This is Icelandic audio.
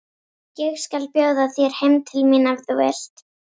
Ég skal bjóða þér heim til mín ef þú vilt!